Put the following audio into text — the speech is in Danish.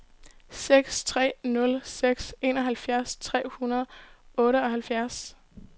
seks tre nul seks enoghalvfjerds tre hundrede og otteoghalvtreds